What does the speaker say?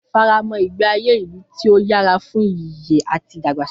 Fara mọ́ ìgbé ayé ìlú tí ó yára fún ìyè àti ìdàgbàsókè.